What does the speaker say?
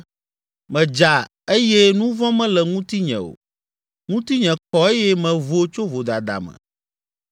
‘Medza eye nu vɔ̃ mele ŋutinye o, ŋutinye kɔ eye mevo tso vodada me.